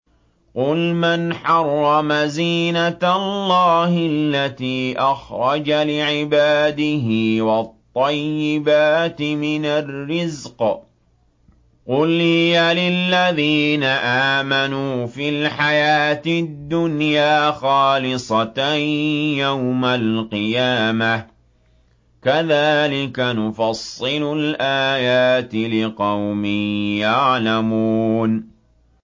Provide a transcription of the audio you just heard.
قُلْ مَنْ حَرَّمَ زِينَةَ اللَّهِ الَّتِي أَخْرَجَ لِعِبَادِهِ وَالطَّيِّبَاتِ مِنَ الرِّزْقِ ۚ قُلْ هِيَ لِلَّذِينَ آمَنُوا فِي الْحَيَاةِ الدُّنْيَا خَالِصَةً يَوْمَ الْقِيَامَةِ ۗ كَذَٰلِكَ نُفَصِّلُ الْآيَاتِ لِقَوْمٍ يَعْلَمُونَ